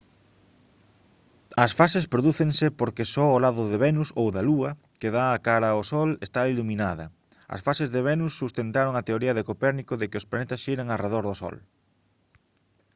as fases prodúcense porque só o lado de venus ou da lúa que dá cara ao sol está iluminada. as fases de venus sustentaron a teoría de copérnico de que os planetas xiran arredor do sol